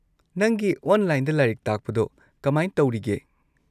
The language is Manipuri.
ꯅꯪꯒꯤ ꯑꯣꯟꯂꯥꯏꯟꯗ ꯂꯥꯏꯔꯤꯛ ꯇꯥꯛꯄꯗꯣ ꯀꯃꯥꯏ ꯇꯧꯔꯤꯒꯦ?